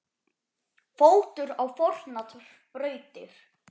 fótur á fornar brautir